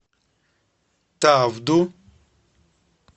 тавду